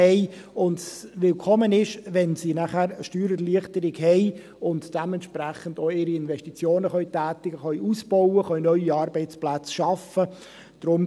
Dies ist willkommen, wenn sie dann Steuererleichterung haben und dementsprechend auch ihre Investitionen tätigen, ausbauen und neue Arbeitsplätze schaffen können.